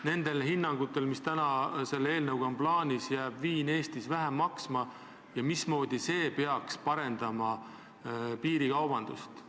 Nende ettepanekute järgi, mis selles eelnõus on, jääb ju viin Eestis vähem maksma ja mismoodi see peaks piirikaubandust kahandama?